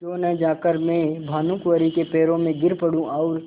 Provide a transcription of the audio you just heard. क्यों न जाकर मैं भानुकुँवरि के पैरों पर गिर पड़ूँ और